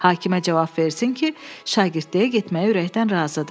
Hakimə cavab versin ki, şagirdliyə getməyə ürəkdən razıdır.